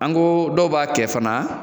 An ko dɔw b'a kɛ fana